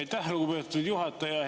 Aitäh, lugupeetud juhataja!